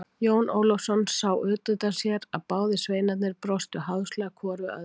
Jón Ólafsson sá útundan sér að báðir sveinarnir brostu háðslega hvor við öðrum.